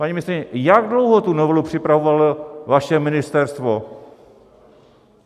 Paní ministryně, jak dlouho tu novelu připravovalo vaše ministerstvo?